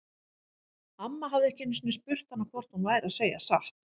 Amma hafði ekki einu sinni spurt hana hvort hún væri að segja satt.